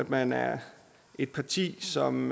man er et parti som